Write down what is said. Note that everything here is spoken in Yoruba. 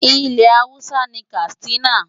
Ilẹ̀ Hausa ni Katsina.